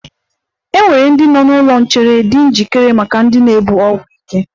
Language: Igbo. E nwere ndị nọ n'ụlọ nchere di njikere maka ndị ga-ebu ọgwụ ike.